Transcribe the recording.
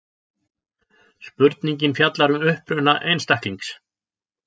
Spurningin fjallar um uppruna einstaklings.